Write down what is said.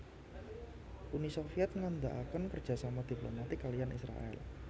Uni Soviet ngendegaken kerjasama diplomatik kaliyan Israèl